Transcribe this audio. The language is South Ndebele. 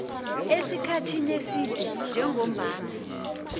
esikhathini eside njengombana